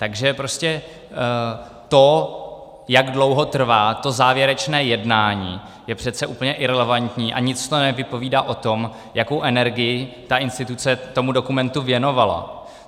Takže prostě to, jak dlouho trvá to závěrečné jednání, je přece úplně irelevantní a nic to nevypovídá o tom, jakou energii ta instituce tomu dokumentu věnovala.